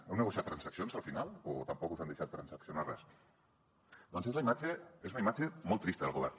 heu negociat transaccions al final o tampoc us han deixat transaccionar res doncs és una imatge molt trista del govern